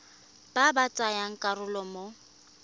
ba ba tsayang karolo mo